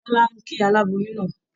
Bọ́lá ń kí aláboyún náà